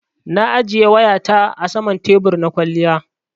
Na ajiye wayata saman tebur na kwaliya.